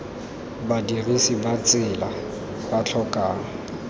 badirisi ba tsela ba tlhokang